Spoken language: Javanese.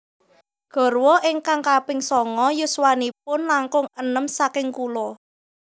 Garwa ingkang kaping songo yuswanipun langkung enem saking kulo